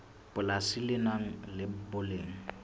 polasi le nang le boleng